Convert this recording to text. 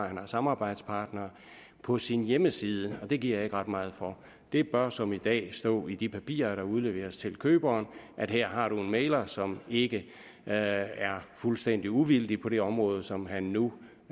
han har samarbejdspartnere på sin hjemmeside og det giver jeg ikke ret meget for det bør som i dag stå i de papirer der udleveres til køberen at her har man en mægler som ikke er er fuldstændig uvildig på det område som han nu